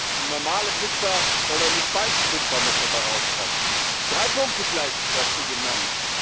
Nicht nur eine normale Pizza, sondern eine spicy Pizza muss dabei rauskommen. Drei Punkte seien dazu genannt.